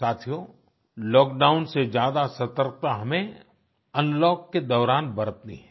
साथियो लॉकडाउन से ज्यादा सतर्कता हमें अनलॉक के दौरान बरतनी है